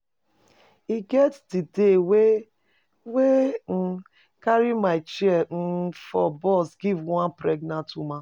E get di day wey wey I carry my chair um for bus give one pregnant woman.